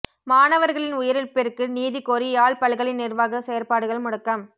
மாணவர்களின் உயிரிழப்பிற்கு நீதி கோரி யாழ் பல்கலை நிர்வாக செயற்பாடுகள் முடக்கம்